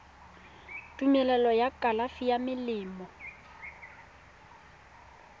tumelelo ya kalafi ya melemo